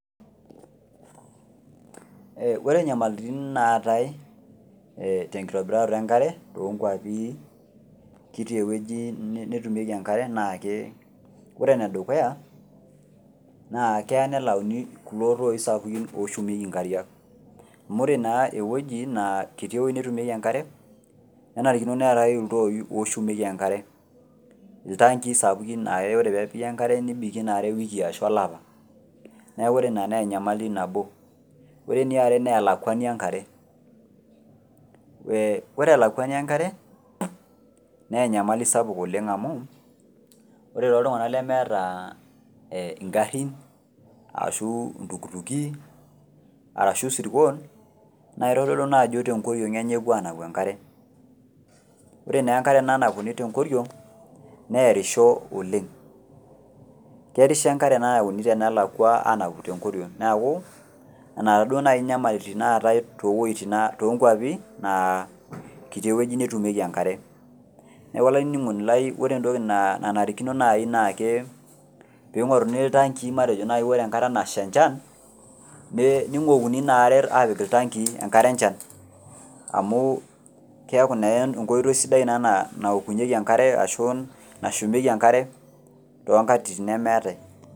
Ore nyamalitin naatae tenkitobirata enkare toonkwapi kiti netumieki enkare naa ke ore enedukuya naa keya nelayuni kulo toi sapukin oshumieki nkariak amu ore naa eweuji naa kiti ewueji netumieki enkare kenarikino neetae iltoi sapukin oshumieki enkare , iltankii sapukin laa ore peepiki enkare nibikie inaare ewiki ashu olapa niaku ore ina naa enyamali nabo. Ore eniare naa elakwani enkare , ee ore elakwani enkare naa enyamali sapuk oleng amu ore toltunganak lemeeta enkare ashu iltukutuki arashu isirkon naa kitodolu naa ajo tenkoriong enye epuo anapu enkare , ore naa enkare nanapuni tenkoriong nearisho oleng , kearisho enkare nayauni tenelakwa ayau tenkoriong niaku nena inyamalitin naatae towuejitin toonkwapi naa kiti ewueji netumieki enkare . Niaku olaininingoni lai ore entoki nanarikino nai naa ke pingoruni iltankii ore enkata nasha enchan niwokuni inaare apik iltankii enkare enchan amu keaku naa enkoitoi ina naokunyieki enkare ashu nashumieki enkare tenkata nemeetae.